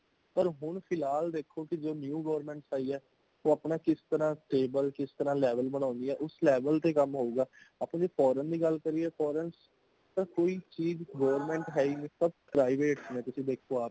ਪਰ ਹੋਣ ਫਿਲਹਾਲ ਦੇਖੋ ਜੋ new government ਆਈ ਹੈ ,ਉਹ ਅਪਣਾ ਕਿਸ ਤਰ੍ਹਾਂ stable ਕਿਸ ਤਰ੍ਹਾਂ level ਬਨਾਉਂਦੀ ਹੈ | ਉਸ level ਤੇ ਕੰਮ ਹੋਊਗਾ | ਅਪਣੀ foreign ਦੀ ਗੱਲ ਕਰੀਏ ,foreign ਦੇ ਕੋਈ ਚੀਜ਼ government ਹੈ ਹੀ ਨਹੀਂ ਸੱਬ private ਨੇ ਤੁਸੀਂ ਦੇਖਉ ਆਪ